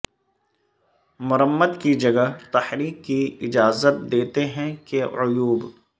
مرمت کی جگہ تحریک کی اجازت دیتے ہیں کہ عیوب